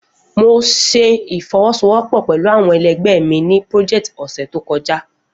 Mo ṣe ifowosowopo pẹlu awọn ẹlẹgbẹ mi ni peoject ọsẹ to kọja.